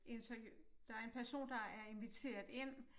Interview der er en person der er inviteret ind